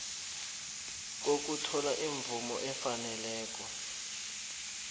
kokuthola imvumo efaneleko